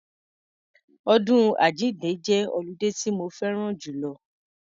Ọdún àjínde jẹ́ ọludé tí mo fẹ́ran jùlọ.